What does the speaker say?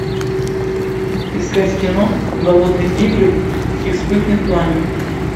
искать кино голодные игры и вспыхнет пламя